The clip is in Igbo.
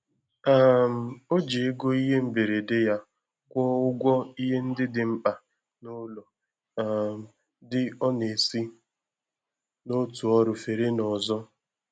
um O ji ego ihe mgberede yá kwụọ ụgwọ ihe ndị dị mkpa n'ụlọ um dị ọ na-esi n'otu ọrụ fere n'ọzọ.